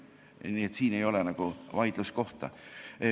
Nii et siin ei ole nagu vaidluskohta.